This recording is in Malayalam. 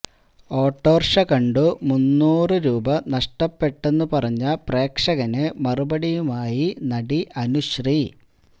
ഓട്ടർഷ കണ്ടു മുന്നൂറ് രൂപ നഷ്ടപ്പെട്ടെന്നു പറഞ്ഞ പ്രേക്ഷകന് മറുപടിയുമായി നടി അനുശ്രീ